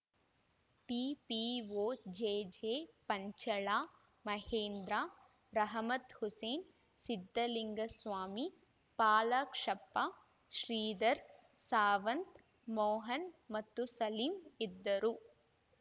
ಟಿಪಿಒಜೆಜೆ ಪಂಚಳ ಮಹೇಂದ್ರ ರಹಮತ್‌ ಹುಸೇನ್‌ ಸಿದ್ದಲಿಂಗ ಸ್ವಾಮಿ ಪಾಲಕ್ಷಪ್ಪ ಶ್ರೀಧರ್‌ ಸಾವಂತ್‌ ಮೋಹನ್‌ ಮತ್ತು ಸಲೀಮ್‌ ಇದ್ದರು